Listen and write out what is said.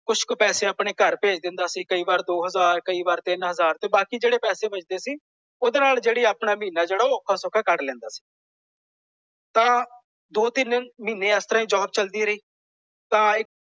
ਕੁੱਝ ਕੁ ਪੈਸੇ ਆਪਣੇ ਘਰ ਭੇਜ ਦਿੰਦਾ ਸੀ ਕਈ ਵਾਰ ਦੋ ਹਜ਼ਾਰ ਕਈ ਵਾਰ ਤਿੰਨ ਹਜ਼ਾਰ ਤੇ ਬਾਕੀ ਜਿਹੜੇ ਪੈਸੇ ਬੱਚਦੇ ਸੀ। ਓਹਦੇ ਨਾਲ ਜਿਹੜੀ ਆਪਣਾ ਮਹੀਨਾ ਜਿਹੜਾ ਔਖਾ ਸੌਖਾ ਕੱਢ ਲੈਂਦਾ ਸੀ। ਤਾਂ ਦੋ ਤਿੰਨ ਮਹੀਨੇ ਇਸ ਤਰ੍ਹਾਂ ਹੀ ਜੌਬ ਚਲਦੀ ਰਹੀ। ਤਾਂ।